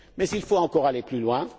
Mais il faut encore aller plus loin.